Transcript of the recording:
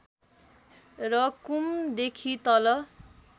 र कुम देखि तल